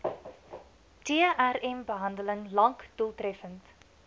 trmbehandeling lank doeltreffend